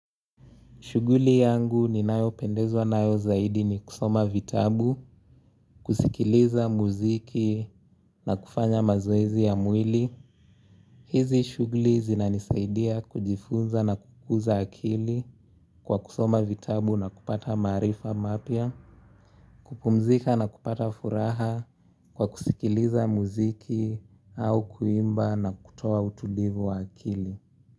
Shughuli yangu ninayopendezwa nayo zaidi ni kusoma vitabu, kusikiliza muziki na kufanya mazoezi ya mwili. Hizi shughuli zinanisaidia kujifunza na kukuza akili kwa kusoma vitabu na kupata maarifa mapya, kupumzika na kupata furaha kwa kusikiliza muziki au kuimba na kutoa utulivu wa akili.